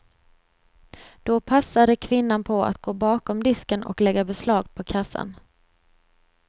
Då passade kvinnan på att gå bakom disken och lägga beslag på kassan.